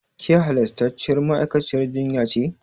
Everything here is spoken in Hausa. Ke halastarciyar ma'aikaciyar jinya ce?